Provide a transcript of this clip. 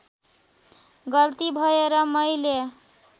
गल्ती भएर मैले